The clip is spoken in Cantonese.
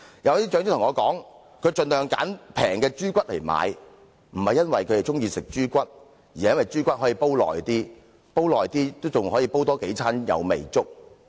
有些長者告訴我，他們盡量購買便宜的豬骨，並非因為他們喜歡吃豬骨，而是因為豬骨更耐煮，因而可以多吃數餐有味粥。